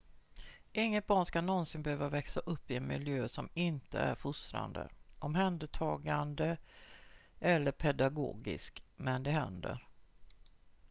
inget barn ska någonsin behöva växa upp i en miljö som inte är fostrande omhändertagande eller pedagogisk men det händer